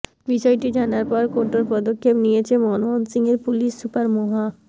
বিষয়টি জানার পর কঠোর পদক্ষেপ নিয়ছেন ময়মনসিংহের পুলিশ সুপার মোহা